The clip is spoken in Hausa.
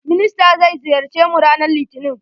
Minister zai ziyarce mu ranan litinin.